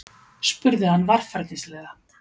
spurði hann varfærnislega.